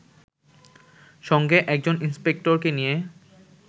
সঙ্গে একজন ইন্সপেক্টরকে নিয়ে